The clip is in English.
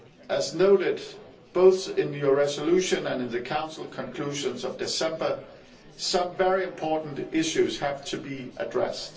As noted both in your resolution and in the Council conclusions of December, some very important issues have to be addressed.